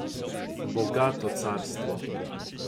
Bogato carstvo.